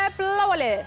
bláa liðið